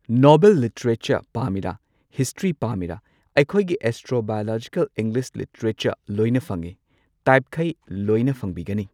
Novel literature ꯄꯥꯝꯃꯤꯔꯥ history ꯄꯥꯝꯃꯤꯔꯥ ꯑꯩꯈꯣꯏꯒꯤ ꯑꯦꯁꯇ꯭ꯔꯣ ꯕꯥꯢꯑꯣꯂꯣꯖꯤꯀꯜ ꯏꯪꯂꯤꯁ ꯂꯤꯇꯦꯔꯦꯆꯔ ꯂꯣꯏꯅ ꯐꯪꯉꯤ ꯇꯥꯏꯞꯈꯩ ꯂꯣꯢꯅ ꯐꯪꯕꯤꯒꯅꯤ꯫